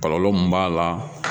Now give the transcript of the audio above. Kɔlɔlɔ mun b'a la